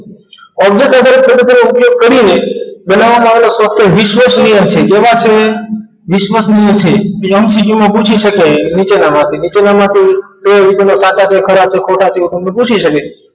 Object આધારિત તેનો ઉપયોગ કરીને બનાવવામાં આવેલ software વિશ્વાસનીય છે કેવા છે વિશ્વાસનીય છે એ MCQ માં પૂછી શકે નીચેનામાંથી નીચેનામાંથી તે વિકલ્પો સાચા છે કે ખોટા છે તે તમને પૂછી શકે છે